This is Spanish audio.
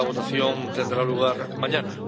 La votación tendrá lugar mañana.